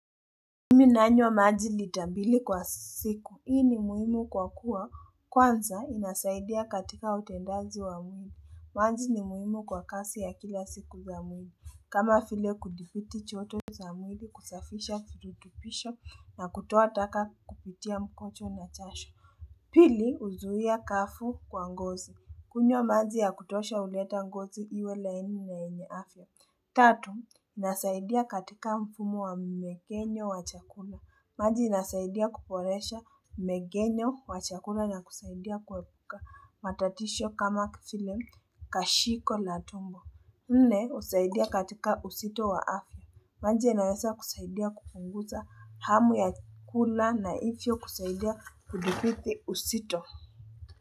Nimi nanywa maji lita mbili kwa siku hii ni muhimu kwa kuwa kwanza inasaidia katika utendazi wa muhimu maji ni muhimu kwa kasi ya kila siku za muhimu kama file kudipiti choto za muhimu kusafisha fututupisha na kutoa taka kupitia mkocho na chasho Pili, uzuia kafu kwa ngozi. Kunywa maji ya kutosha uleta ngozi iwe laini na eneafya. Tatu, nasaidia katika mfumo wa megenyo wa chakula. Maji nasaidia kuporesha megenyo wa chakula na kusaidia kuwebuka matatisho kama filem kashiko la tumbo. Nne, usaidia katika usito wa afya. Manji ya nayasa kusaidia kufunguta hamu ya kula na ifyo kusaidia kudupiti usito.